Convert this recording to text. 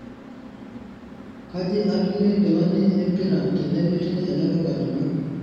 kaji atumie nkilani empira tenemetii ele duka lino